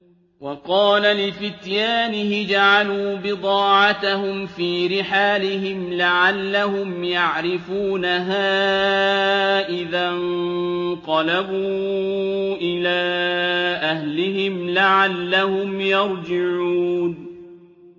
وَقَالَ لِفِتْيَانِهِ اجْعَلُوا بِضَاعَتَهُمْ فِي رِحَالِهِمْ لَعَلَّهُمْ يَعْرِفُونَهَا إِذَا انقَلَبُوا إِلَىٰ أَهْلِهِمْ لَعَلَّهُمْ يَرْجِعُونَ